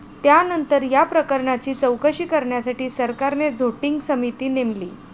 त्यानंतर या प्रकरणाची चौकशी करण्यासाठी सरकारने झोटिंग समिती नेमली.